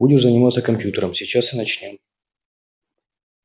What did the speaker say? будешь заниматься компьютером сейчас и начнём